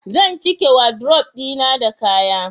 zan cike wadrob dina da kaya